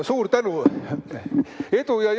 Suur tänu!